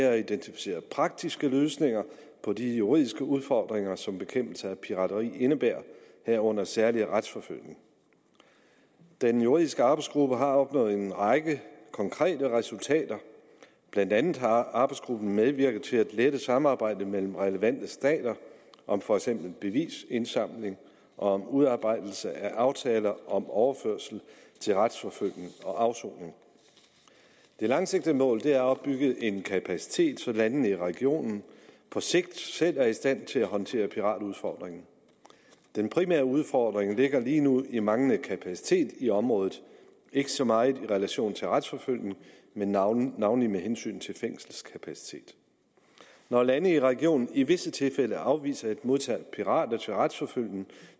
at identificere praktiske løsninger på de juridiske udfordringer som bekæmpelse af pirateri indebærer herunder særlig retsforfølgning den juridiske arbejdsgruppe har opnået en række konkrete resultater blandt andet har arbejdsgruppen medvirket til at lette samarbejdet mellem relevante stater om for eksempel bevisindsamling og om udarbejdelse af aftaler om overførsel til retsforfølgning og afsoning det langsigtede mål er at opbygge en kapacitet så landene i regionen på sigt selv er i stand til at håndtere piratudfordringen den primære udfordring ligger lige nu i manglende kapacitet i området ikke så meget i relation til retsforfølgning men navnlig navnlig med hensyn til fængselskapaciteten når lande i regionen i visse tilfælde afviser at modtage pirater til retsforfølgning